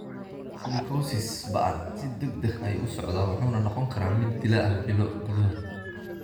Silicosis ba'an si degdeg ah ayuu u socdaa wuxuuna noqon karaa mid dilaa ah bilo gudahood.